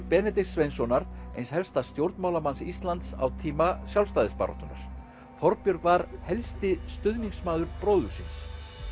Benedikts Sveinssonar eins helsta stjórnmálamanns Íslands á tíma sjálfstæðisbaráttunnar Þorbjörg var helsti stuðningsmaður bróður síns